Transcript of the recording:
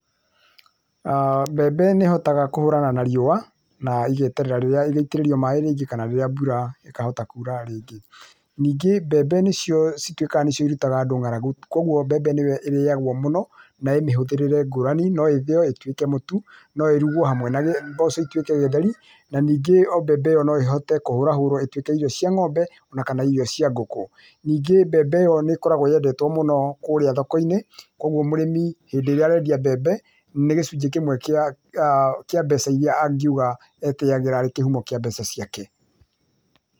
Mbembe nĩihotaga kũhũrana na riũa, na igeterera rĩrĩa igaitĩrĩrio maaĩ rĩngĩ, kana rĩrĩa mbura ĩkahota kura rĩngĩ. Ningĩ mbembe nĩcio cituĩkaga nĩcio irutaga andũ ng'aragu, koguo mbembe nĩyo ĩrĩagwo mũno, na ĩĩ mĩhũthĩrĩre ngũrani, no ĩthĩo ĩtuĩke mũtu, no ĩrugwo hamwe na mboco ituĩke gĩtheri, na ningĩ o mbembe ĩyo no ĩhote kũhũrahũrwo ĩtuĩke irio cia ng'ombe, o na kana irio cia ngũkũ. Ningĩ mbembe ĩyo nĩkoragwo yendetwo mũno kũrĩa thoko-inĩ, koguo mũrĩmi hĩndĩ ĩrĩa arendia mbembe, nĩ gĩcunjĩ kĩmwe kĩa mbeca iria angiuga etĩyagĩra arĩ kĩhumo kĩa mbeca ciake